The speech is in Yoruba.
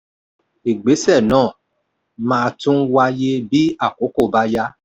ìgbésẹ̀ náà máa tún wáyé bí àkókò bá yá.